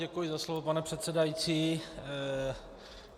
Děkuji za slovo, pane předsedající.